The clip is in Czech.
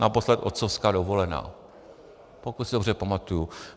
Naposled otcovská dovolená, pokud si dobře pamatuji.